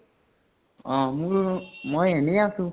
অ মোৰ মই এনে আছো।